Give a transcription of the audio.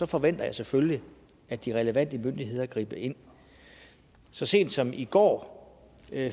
forventer jeg selvfølgelig at de relevante myndigheder griber ind så sent som i går